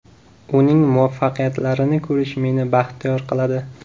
Uning muvaffaqiyatlarini ko‘rish, meni baxtiyor qiladi.